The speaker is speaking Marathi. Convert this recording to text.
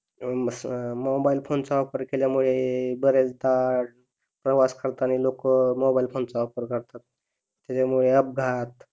मोबाईल फोन चा वापर केल्यामुळे बरेचदा प्रवास करतानी लोक मोबाईल फोनचा वापर करतात त्याच्यामुळे अपघात